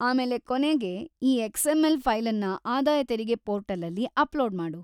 ಆಮೇಲೆ ಕೊನೆಗೆ ಈ ಎಕ್ಸ್.‌ಎಂ.ಎಲ್. ಫೈಲನ್ನ ಆದಾಯ ತೆರಿಗೆ ಪೋರ್ಟಲಲ್ಲಿ ಅಪ್ಲೋಡ್‌ ಮಾಡು.